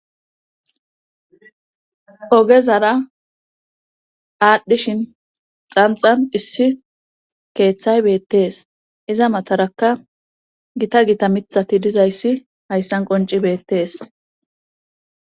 Ogezara aadhdhishin xanxan issi keeththay beettees iza mataraka gita gita mithati dizayssi hayssan qonci beettees.